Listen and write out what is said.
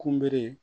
Kunbele